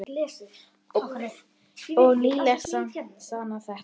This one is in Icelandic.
Og nýleg dæmi sanna þetta.